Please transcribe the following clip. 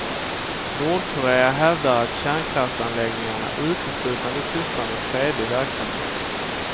Nordkorea hävdar att kärnkraftsanläggningarna uteslutande sysslar med fredlig verksamhet.